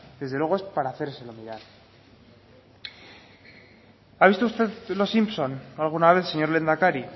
desde luego es para hacérselo mirar ha visto usted los simpson alguna vez señor lehendakari